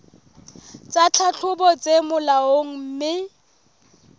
tsa tlhahlobo tse molaong mme